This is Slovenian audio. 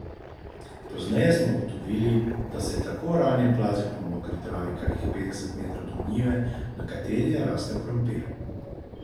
Pozneje smo ugotovili, da se je tako ranjen plazil po mokri travi kakih petdeset metrov do njive, na kateri je rastel krompir.